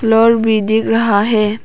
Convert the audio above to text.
Floor भी दिख रहा है।